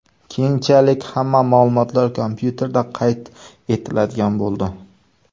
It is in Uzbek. Keyinchalik hamma ma’lumotlar kompyuterda qayd etiladigan bo‘ldi.